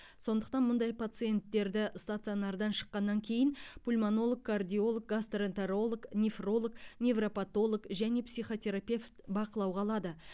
сондықтан мұндай пациенттерді стационардан шыққаннан кейін пульмонолог кардиолог гастроэнтеролог нефролог невропатолог және психотерапевт бақылауға алады